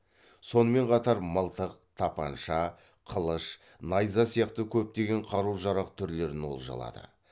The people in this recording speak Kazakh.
сонымен қатар мылтық тапанша қылыш найза сияқты көптеген қару жарақ түрлерін олжалады